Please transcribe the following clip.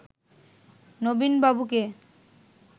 নবীন বাবুকে